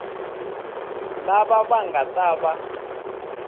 lava va nga ta va